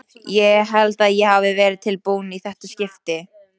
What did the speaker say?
Ég held að ég hafi verið tilbúin í þetta skipti.